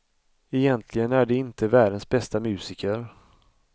Egentligen är de inte världens bästa musiker.